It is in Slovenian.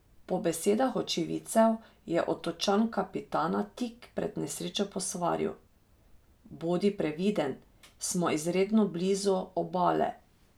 Po besedah očividcev, je otočan kapitana tik pred nesrečo posvaril: "Bodi previden, smo izredno blizu obale".